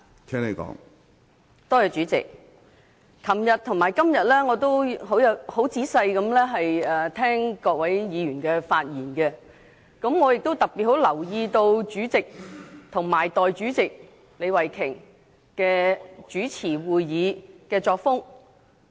主席，我在昨天和今天仔細聆聽了各位議員的發言，我特別留意到主席和代理主席李慧琼議員主持會議的作風。